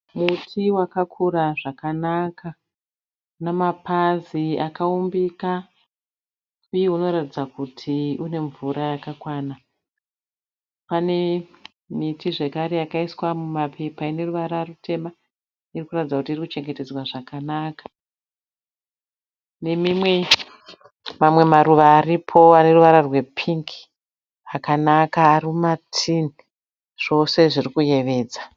Muti wakakura zvakanaka. Unamapazi akaumbika uye unoratidza kuti une mvura yakakwana . Pane miti zvekare yakaiswa mumapepa ineruvara rutema irikuratidza kuti iri kuchengetedzwa zvakanaka. Nemamwe maruva aripo ane ruvara rwe pingi akanaka arimuma tini, zvose zviri kuyevedza.